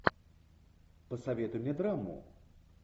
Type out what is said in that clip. посоветуй мне драму